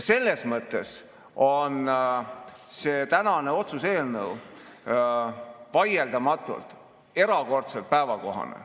Selles mõttes on see otsuse eelnõu vaieldamatult erakordselt päevakohane.